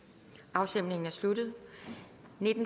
afstemningen er sluttet